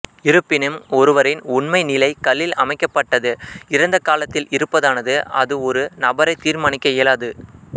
இருப்பினும் ஒருவரின் உண்மை நிலை கல்லில் அமைக்கப்பட்டது இறந்த காலத்தில் இருப்பதானது அது ஒரு நபரை தீர்மானிக்க இயலாது